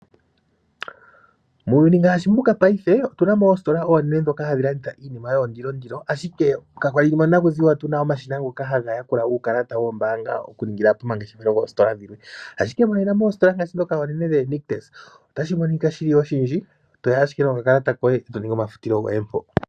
Muuyuni ngaashi mbuka paife otuna mo oostola oonene ndhoka hadhi landitha iinima yoondilondilo, ashike ka kwali monakuziwa tuna omashina ngoka haga yakula uukalata woombanga oku ningila po mangeshefelo goostola dhilwe, ashike moositola ngaashi oNictus otashi monika shili oshindji to ya ashike nokakalata koye eto ningi omafutilo goye mpo.